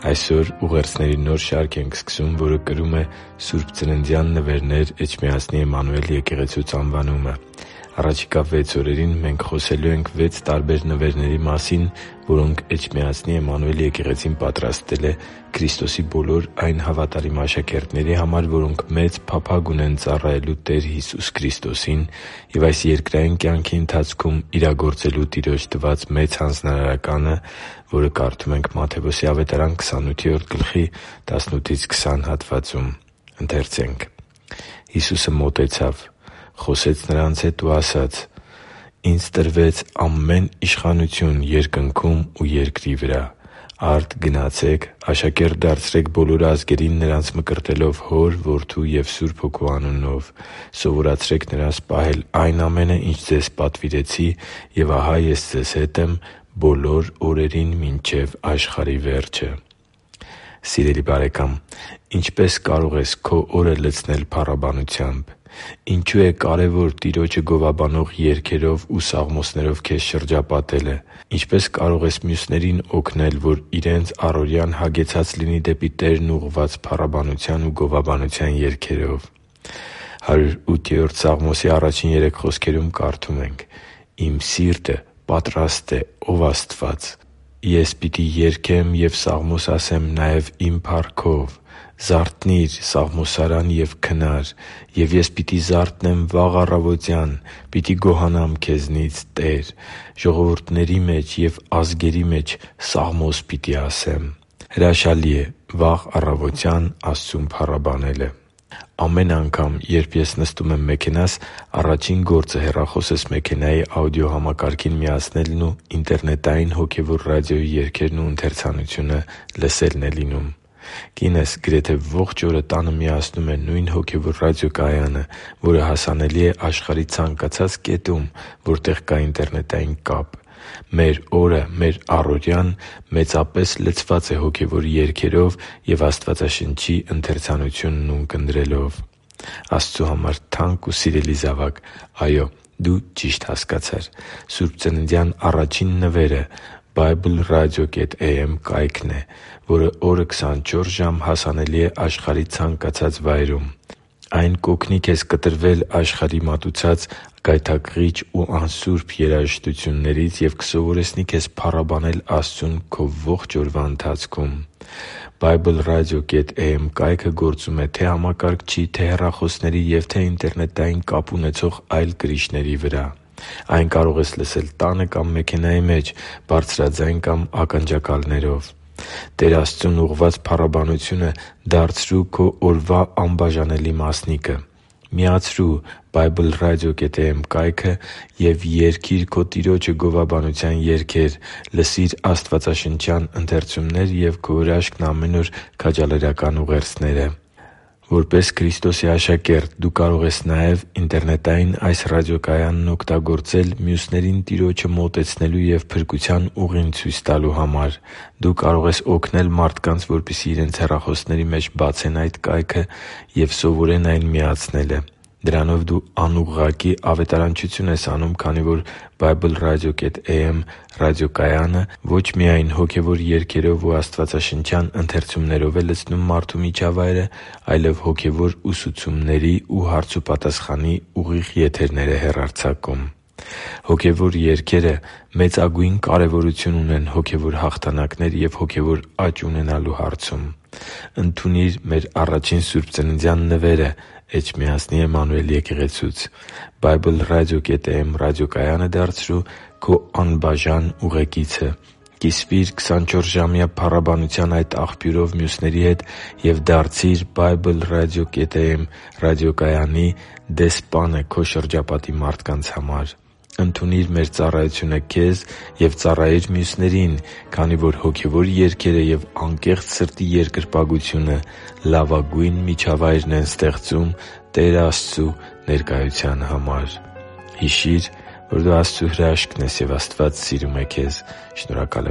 Այսօր ուղերձների նոր շարք ենք սկսում, որը կրում է «Սուրբծննդյան նվերներ Էջմիածնի Էմմանուել եկեղեցուց» անվանումը։ Առաջիկա վեց օրերին մենք խոսելու ենք վեց տարբեր նվերների մասին, որոնք Էջմիածնի Էմմանուել եկեղեցին պատրաստել է Քրիստոսի բոլոր այն հավատարիմ աշակերտների համար, որոնք մեծ փափագ ունեն ծառայելու Տեր Հիսուս Քրիստոսին և այս երկրային կյանքի ընթացքում իրագործելու Տիրոջ տված Մեծ Հանձնարարականը։ «Հիսուսը մոտեցավ, խոսեց նրանց հետ ու ասաց. «Ինձ տրվեց ամեն իշխանություն երկնքում ու երկրի վրա։ Արդ գնացե՛ք, աշակե՛րտ դարձրեք բոլոր ազգերին՝ նրանց մկրտելով Հոր, Որդու և Սուրբ Հոգու անունով, սովորեցրե՛ք նրանց պահել այն ամենը, ինչ ձեզ պատվիրեցի։ Եվ ահա Ես ձեզ հետ եմ բոլոր օրերին մինչև աշխարհի վերջը» (Մատթեոս 28.18-20): Սիրելի՛ բարեկամ, ինչպե՞ս կարող ես քո օրը լցնել փառաբանությամբ։ Ինչո՞ւ է կարևոր Տիրոջը գովաբանող երգերով ու սաղմոսներով քեզ շրջապատելը։ Ինչպե՞ս կարող ես մյուսներին օգնել, որ իրենց առօրյան հագեցած լինի դեպի Տերն ուղղված փառաբանության ու գովաբանության երգերով։ «Իմ սիրտը պատրաստ է, ո՜վ Աստված, ես պիտի երգեմ և սաղմոս ասեմ նաև իմ փառքով։ Զարթնի՛ր, սաղմոսարա՛ն և քնա՛ր, և ես պիտի զարթնեմ վաղ առավոտյան, պիտի գոհանամ քեզնից, Տե՛ր, ժողովուրդների մեջ և ազգերի մեջ սաղմոս պիտի ասեմ» (Սաղմոս 108․1-3): Հրաշալի է վաղ առավոտյան Աստծուն փառաբանելը։ Ամեն անգամ, երբ ես նստում եմ մեքենաս, առաջին գործը հեռախոսս մեքենայի աուդիո համակարգին միացնելն ու ինտերնետային հոգևոր ռադիոյի երգերն ու ընթերցանությունը լսելն է լինում։ Կինս գրեթե ողջ օրը տանը միացնում է նույն հոգևոր ռադիոկայանը, որը հասանելի է աշխարհի ցանկացած կետում, որտեղ կա ինտերնետային կապ։ Մեր օրը, մեր առօրյան մեծապես լցված է հոգևոր երգերով և Աստվածաշնչի ընթերցանությունն ունկնդրելով։ Աստծու համար թանկ ու սիրելի՛ զավակ, այո՛, դու ճիշտ հասկացար։ Սուրբծննդյան առաջին նվերը BibleRadio.am ռադիոկայքն է, որն օրը քսանչորս ժամ հասանելի է աշխարհի ցանկացած վայրում։ Այն կօգնի քեզ կտրվել աշխարհի մատուցած գայթակղիչ ու անսուրբ երաժշտություններից և կսովորեցնի քեզ փառաբանել Աստծուն քո ողջ օրվա ընթացքում։ BibleRadio.am կայքը գործում է թե՛ համակարգչի, թե՛ հեռախոսների և թե՛ ինտերնետային կապ ունեցող այլ կրիչների վրա։ Այն կարող ես լսել տանը կամ մեքենայի մեջ, բարձրաձայն կամ ականջակալներով։ Տեր Աստծուն ուղղված փառաբանությունը դարձրո՛ւ քո օրվա անբաժանելի մասնիկը։ Միացրո՛ւ BibleRadio.am կայքը և երգի՛ր քո Տիրոջը գովաբանության երգեր, լսի՛ր աստվածաշնչյան ընթերցումներ և «Քո հրաշքն՝ ամեն օր» քաջալերական ուղերձները։ Որպես Քրիստոսի աշակերտ՝ դու կարող ես նաև BibleRadio.am ինտերնետային ռադիոկայանն օգտագործել մյուսներին Տիրոջը մոտեցնելու և փրկության ուղին ցույց տալու համար։ Դու կարող ես օգնել մարդկանց, որպեսզի իրենց հեռախոսների մեջ բացեն այդ կայքը և սովորեն այն միացնելը։ Դրանով դու անուղղակի ավետարանչություն ես անում, քանի որ BibleRadio.am ռադիոկայանը ո՛չ միայն հոգևոր երգերով ու աստվածաշնչյան ընթերցումներով է լցնում մարդու միջավայրը, այլև հոգևոր ուսուցումների և հարցուպատասխանի ուղիղ եթերներ է հեռարձակում։ Հոգևոր երգերը մեծագույն կարևորություն ունեն հոգևոր հաղթանակներ և հոգևոր աճ ունենալու հարցում։ Ընդունի՛ր մեր առաջին սուրբծննդյան նվերը Էջմիածնի Էմմանուել եկեղեցուց։ BibleRadio.am ռադիոկայանը դարձրո՛ւ քո անբաժան ուղեկիցը։ Կիսվի՛ր քսանչորսժամյա փառաբանության այդ աղբյուրով մյուսների հետ և դարձի՛ր BibleRadio.am ռադիոկայանի դեսպանը քո շրջապատի մարդկանց համար։ Ընդունի՛ր մեր ծառայությունը քեզ և ծառայի՛ր մյուսներին, քանի որ հոգևոր երգերը և անկեղծ սրտի երկրպագությունը լավագույն միջավայրն են ստեղծում Տեր Աստծու ներկայության համար։ Հիշի՛ր, որ դու Աստծո հրաշքն ես, և Աստված սիրում է քեզ։ Շնորհակալ